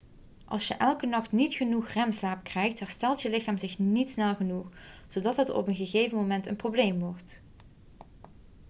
als je elke nachts niet genoeg remslaap krijgt herstelt je lichaam zich niet snel genoeg zodat het op een gegeven moment een probleem wordt